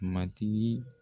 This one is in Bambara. Matigi